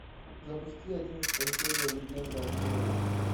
запусти одиннадцатая серия легенда о корре